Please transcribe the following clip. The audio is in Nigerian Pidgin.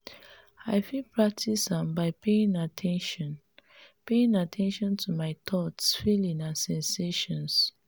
i fit practice am by paying at ten tion paying at ten tion to my thoughts feelings and sensations.